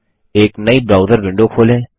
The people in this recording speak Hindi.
एक नयी ब्राउजर विंडो खोलें